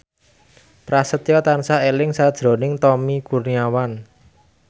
Prasetyo tansah eling sakjroning Tommy Kurniawan